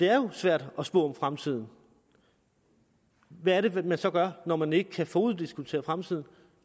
er svært at spå om fremtiden og hvad er det man så gør når man ikke kan foruddiskontere fremtiden